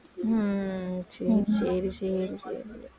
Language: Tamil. உம் சரி சரி சரி சரி